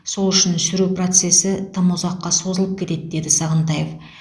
сол үшін сүру процесі тым ұзаққа созылып кетеді деді сағынтаев